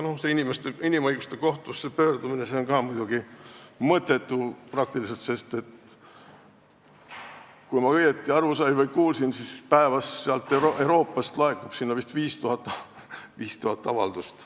Sinna pöördumine on ka peaaegu mõttetu, sest kui ma õigesti aru sain või kuulsin, siis päevas laekub sinna Euroopast vist 5000 avaldust.